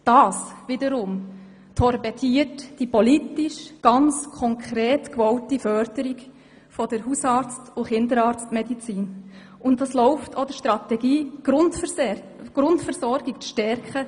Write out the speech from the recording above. Das wiederum torpediert die politisch ganz konkret gewollte Förderung der Hausarzt- und Kinderarztmedizin und läuft auch der Strategie zuwider, die Grundversorgung zu stärken.